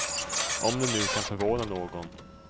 Om det nu kan förvåna någon.